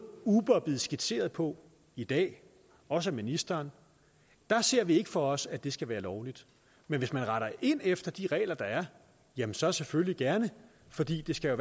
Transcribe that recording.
uber er blevet skitseret på i dag også af ministeren ser vi ikke for os at det skal være lovligt men hvis man retter ind efter de regler der er jamen så selvfølgelig gerne fordi det skal